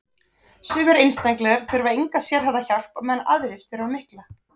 sumir einstaklingar þurfa enga sérhæfða hjálp á meðan aðrir þurfa mikla